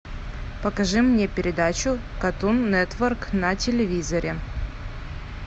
покажи мне передачу картун нетворк на телевизоре